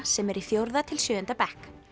sem eru í fjórða til sjöunda bekk